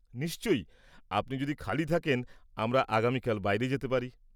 নিশ্চয়ই, আপনি যদি খালি থাকেন আমরা আগামিকাল বাইরে যেতে পারি।